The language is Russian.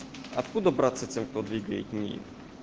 откуда браться тем кто двигает нии